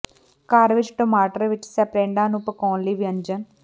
ਘਰ ਵਿੱਚ ਟਮਾਟਰ ਵਿੱਚ ਸਪ੍ਰੈਡਾਂ ਨੂੰ ਪਕਾਉਣ ਲਈ ਵਿਅੰਜਨ